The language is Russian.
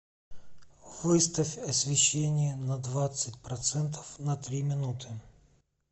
выставь освещение на двадцать процентов на три минуты